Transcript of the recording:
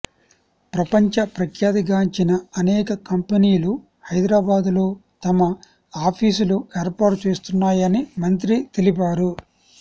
ప్రపంచ ప్రఖ్యాతిగాంచిన అనేక కంపెనీలు హైదరాబాద్ లో తమ ఆఫీసులు ఏర్పాటు చేస్తున్నాయని మంత్రి తెలిపారు